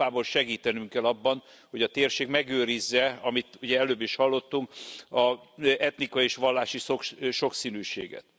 Európából segítenünk kell abban, hogy a térség megőrizze, amit ugye előbb is hallottunk, az etnikai és vallási sokszínűséget.